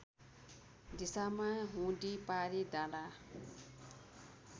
दिशामा हुदिपारि डाँडा